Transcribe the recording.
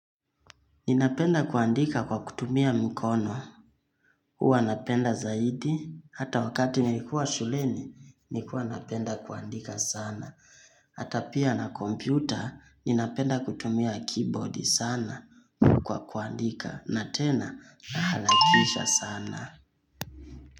Ninapenda kuandika kwa kutumia mkono, huwa napenda zaidi, hata wakati nilikuwa shuleni, nikua napenda kuandika sana. Hata pia na kompyuta, ninapenda kutumia keyboard sana kwa kuandika, na tena nahalakisha sana.